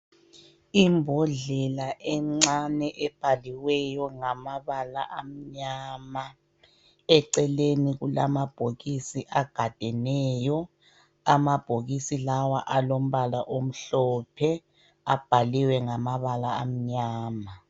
Imbodlela encane ebhaliweyo ngamabala amnyama. Eceleni kulamabhokisi agadeneyo .Amabhokisi lawa alombala omhlophe, abhaliwe ngamabala amnyama.